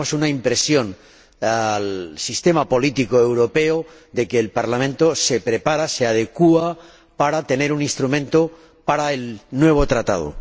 Damos una impresión al sistema político europeo de que el Parlamento se prepara, se adecúa para tener un instrumento para el nuevo Tratado.